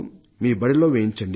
మీ బడిలో వేయించండి